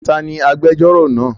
Ta ni agbejórò náà?